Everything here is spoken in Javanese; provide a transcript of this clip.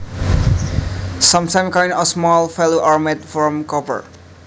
Sometimes coins of small value are made from copper